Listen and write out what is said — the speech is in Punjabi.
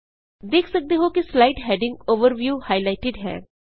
ਦੇਖ ਸਕਦੇ ਹੋਂ ਕਿ ਸਲਾਈਡ ਹੈਡਿੰਗ ਓਵਰਵਿਉ ਹਾਈਲਾਇਟਿਡ ਹੈ